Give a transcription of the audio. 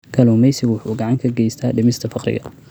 Kalluumaysigu waxa uu gacan ka geystaa dhimista faqriga.